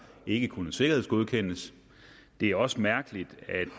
ikke kunne sikkerhedsgodkendes det er også mærkeligt